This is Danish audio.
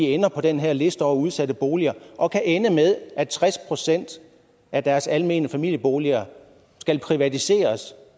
ender på den her liste over udsatte boliger og kan ende med at tres procent af deres almene familieboliger skal privatiseres